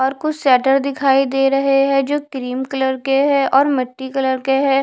और कुछ सेटर दिखाई दे रहे है जो क्रीम कलर के है और मिट्टी कलर के है।